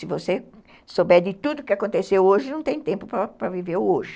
Se você souber de tudo o que aconteceu hoje, não tem tempo para viver o hoje.